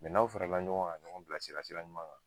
n'aw farala ɲɔɔn ŋa ka ɲɔgɔn bilasira sira ɲuman kan